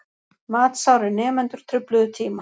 Matsárir nemendur trufluðu tíma